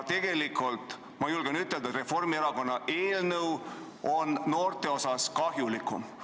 Tegelikult ma julgen ütelda, et Reformierakonna eelnõu on noorte seisukohalt kahjulikum.